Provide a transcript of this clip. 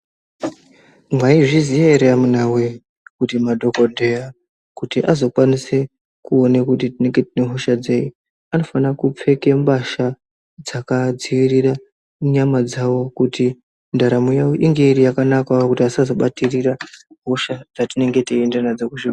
Mwaizviziya ere amunawee kuti madhokodheya, kuti azokwanise kuone kuti tinenge tine hosha dzei, anofana kupfeke mbasha dzakaadziirire, nyama dzavo kuti ndaramo yavo inge iri yakanakawo kuti asazobatirire, hosha dzatinenge teienda nadzo kuzvi......